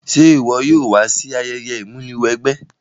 Se wo yóò wa si ayẹyẹ ìmúniwẹgbẹ́?